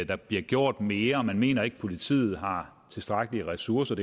der bliver gjort mere man mener ikke at politiet har tilstrækkelige ressourcer